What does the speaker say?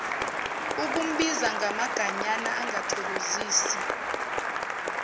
ukumbiza ngamaganyana angathokozisi